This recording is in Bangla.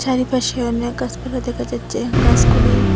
চারিপাশে অনেক গাছপালা দেখা যাচ্ছে গাছগুলি--